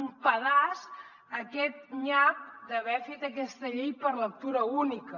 un pedaç a aquest nyap d’haver fet aquesta llei per lectura única